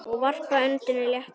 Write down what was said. Og varpar öndinni léttar.